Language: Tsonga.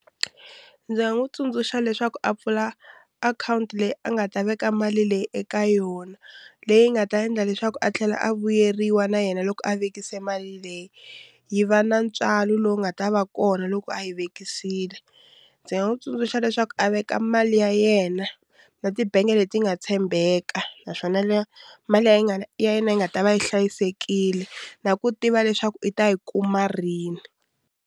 Ndzi nga n'wi tsundzuxa leswaku a pfula akhawunti leyi a nga ta veka mali leyi eka yona leyi nga ta endla leswaku a tlhela a vuyeriwa na yena loko a vekisa mali leyi yi va na ntswalo lowu nga ta va kona loko a yi vekisile ndzi nga n'wi tsundzuxa leswaku a veka mali ya yena na tibangi leti nga tshembeka naswona leyo mali yi nga ya yena yi nga ta va yi hlayisekile na ku tiva leswaku i ta yi kuma rini.